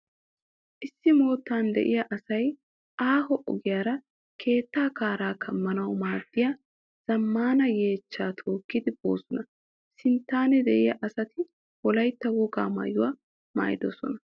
Issi moottan de'iya asay aaho ogiyara keettaa kaaraa kammanawu merettida zammaana yeechchaa tookkidi boosona. Sinttan de'iya asati Wolaytta wogaa maayuwa maayidosona.